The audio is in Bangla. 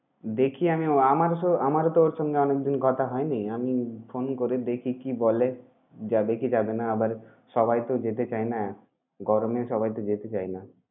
দেখি আমিও, আমারও সো~ আমারও তো ওর সঙ্গে অনেকদিন কথা হয়নি। আমি phone করে দেখি কি বলে। যাবে কি যাবে না? আবার সবাই তো যেতে চায় না, গরমে সবাই তো যেতে চায় না।